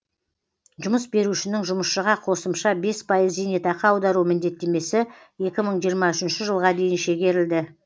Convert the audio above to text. жұмыс берушінің жұмысшыға қосымша бес пайыз зейнетақы аудару міндеттемесі екі мың жиырма үшінші жылға дейін шегерілді